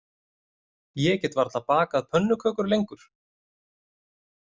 Ég get varla bakað pönnukökur lengur